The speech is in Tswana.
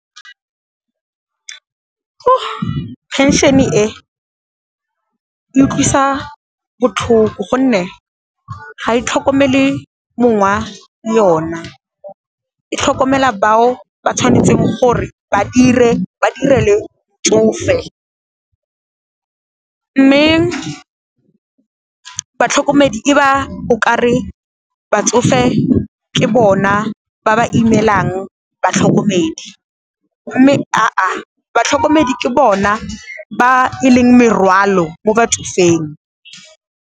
Phenšene e, e utlwisa botlhoko gonne ga e tlhokomele mongwa yona, e tlhokomela bao ba tshwanetseng gore ba 'irele motsofe. Mme batlhokomedi e ba o ka re batsofe ke bona ba ba imelang batlhokomedi mme aa, batlhokomedi ke bona ba e leng morwalo mo batsofeng.